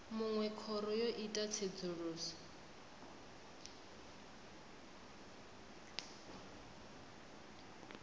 munwe khoro yo ita tsedzuluso